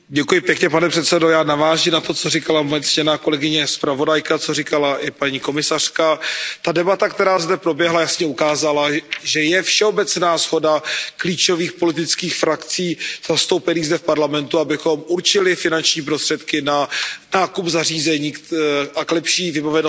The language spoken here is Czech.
Pane předsedající, já naváži na to, co říkala ctěná zpravodajka, co říkala i paní komisařka. Ta debata, která zde proběhla, jasně ukázala, že je všeobecná shoda klíčových politických frakcí zastoupených zde v Parlamentu, abychom určili finanční prostředky na nákup zařízení a lepší vybavenost